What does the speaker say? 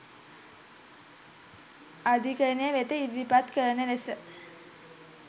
අධිකරණය වෙත ඉදිරිපත් කරන ලෙස